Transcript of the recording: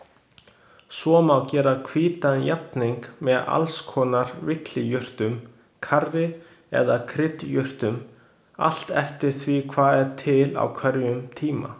Svo má gera hvítan jafning með alls konar villijurtum, karrí eða kryddjurtum, allt eftir því hvað til er á hverjum tíma.